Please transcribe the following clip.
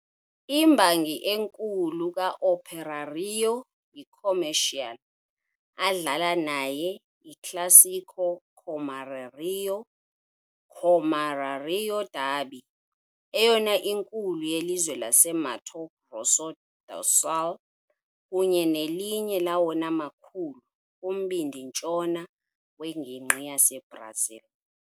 Imbangi enkulu ka-Operário yiComercial, adlala naye iClássico Comerário Comerário derby, eyona inkulu yelizwe le-Mato Grosso do Sul kunye nelinye lawona makhulu kumbindi-ntshona wengingqi yaseBrazil.